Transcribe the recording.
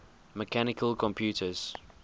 mechanical computers